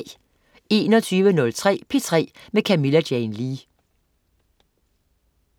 21.03 P3 med Camilla Jane Lea